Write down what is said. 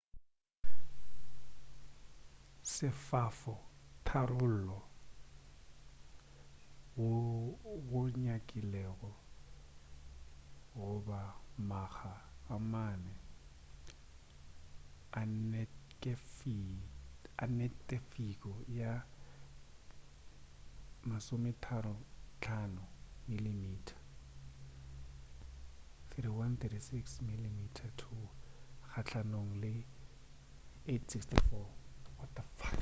se sefa tharollo goo go nyakilego go ba makga a mane a neketifo ya 35 mm 3136 mm2 kgahlanong le 864